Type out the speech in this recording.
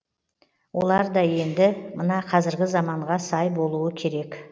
олар да енді мына қазіргі заманға сай болуы керек